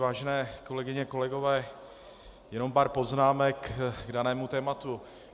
Vážené kolegyně, kolegové, jenom pár poznámek k danému tématu.